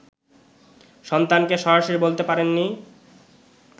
সন্তানকে সরাসরি বলতে পারেননি